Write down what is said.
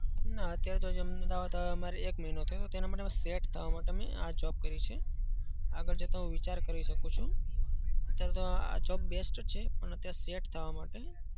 ના. અત્યારે થતા મારે એક મહિનો થયો છે. તેના માટે હું set થવા માટે આ job કરી છે. આગળ જતા હું વિચાર કરી શકું છું. અત્યારે તો આ job best જ છે. પણ અત્યારે set થવા માટે